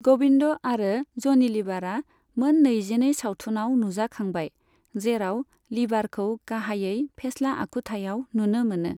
गबिन्द आरो ज'नि लिबारआ मोन नैजिनै सावथुनाव नुजाखांबाय, जेराव लिबारखौ गाहायै फेस्ला आखुथायाव नुनो मोनो।